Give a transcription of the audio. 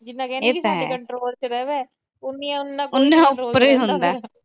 ਜਿੰਨੀਆਂ ਕਹਿੰਦੀਆਂ ਕੰਟਰੋਲ ਚ ਰਹੇ, ਉਨੀਆਂ